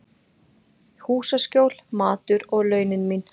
Húsaskjól, matur og launin mín.